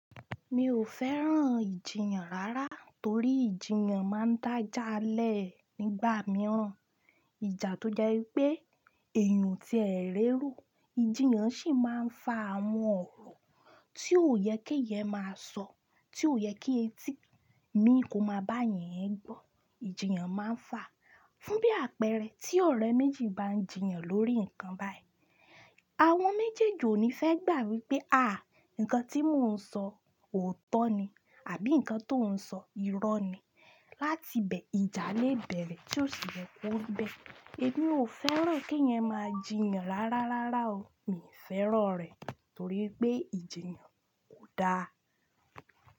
Mi ò fẹ́ràn ìjiyàn rárá torí ìjiyàn máa ń dájà lẹ̀ nígbà mìíràn. Ìjà tó jẹ́ pé èèyàn tí ẹ ń rí rú, ìjiyàn sì máa ń fa àwọn ọ̀rọ̀ tí ò yẹ kí ẹ máa sọ, tí ò yẹ kí etí mi kó máa bá yín ẹ gbọ́. Ìjiyàn máa ń fàá fún bí àpẹẹrẹ tí ọ̀rẹ́ méjì bá ń jiyàn lórí nǹkan báyìí. Àwọn méjèèjì ò ní fẹ́ gbà wípé àá, nǹkan tí mò ń sọ òótọ́ ni àbí nǹkan tó ń sọ irọ́ ni. Látibẹ̀ ìjà le bẹ̀rẹ̀ tí ò sì yẹ kó ń bẹ́. Èmi ò fẹ́ràn kí ẹeyan máa jiyàn rárá rárá o. Mi ò fẹ́ràn rẹ̀ torí pé ìjiyàn kò da.